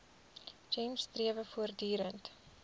gems strewe voortdurend